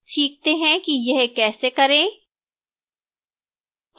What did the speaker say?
सीखते हैं कि यह कैसे करें